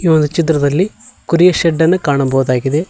ಈ ಒಂದು ಚಿತ್ರದಲ್ಲಿ ಕುರಿಯ ಶೆಡ್ಡನ್ನ ಕಾಣಬಹುದಾಗಿದೆ.